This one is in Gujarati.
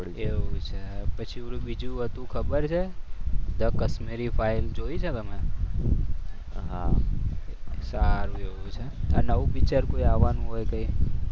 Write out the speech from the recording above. એવું છે પછી ઓલુ પેલું બીજું હતું ખબર છે તો કશ્મીર ફાઈલ જોઈ છે તમે? હા સારું એવું છે નવું પિક્ચર કોઈ આવવાનું હોય કઈ?